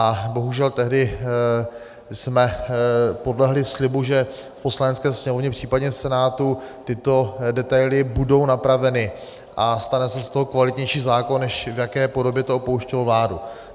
A bohužel tehdy jsme podlehli slibu, že v Poslanecké sněmovně, případně v Senátu tyto detaily budou napraveny a stane se z toho kvalitnější zákon, než v jaké podobě to opouštělo vládu.